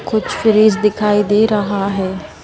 कुछ फ्रेज दिखाई दे रहा है।